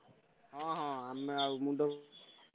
ହଁ ହଁ ଆମେ ଆଉ ମୁଣ୍ଡ~,